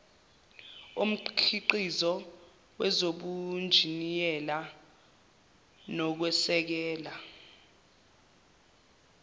omkhiqizo kwezobunjiniyela nokwesekela